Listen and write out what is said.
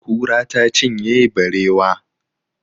Kura ta cinye barewa.